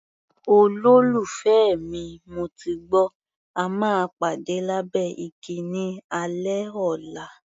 Olólùfẹ́ mi, mo ti gbọ́, a máa pàdé lábẹ́ igi ní alẹ́ ọ̀la.